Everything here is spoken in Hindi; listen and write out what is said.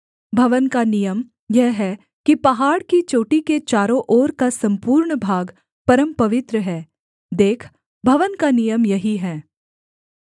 भवन का नियम यह है कि पहाड़ की चोटी के चारों ओर का सम्पूर्ण भाग परमपवित्र है देख भवन का नियम यही है